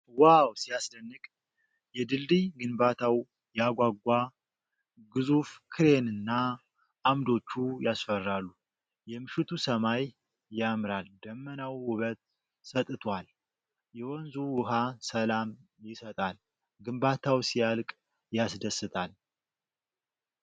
ዋው ሲያስደንቅ! የድልድይ ግንባታው ያጓጓ። ግዙፉ ክሬንና ዓምዶቹ ያስፈራሉ። የምሽቱ ሰማይ ያምራል፣ ደመናው ውበት ሰጥቶታል። የወንዙ ውሃ ሰላም ይሰጣል። ግንባታው ሲያልቅ ያስደስታል።